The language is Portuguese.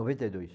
noventa e dois.